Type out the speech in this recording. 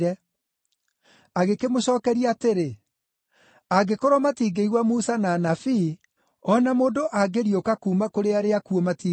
“Agĩkĩmũcookeria atĩrĩ, ‘Angĩkorwo matingĩigua Musa na Anabii, o na mũndũ angĩriũka kuuma kũrĩ arĩa akuũ matingĩmũigua.’ ”